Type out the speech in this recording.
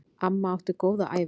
Amma átti góða ævi.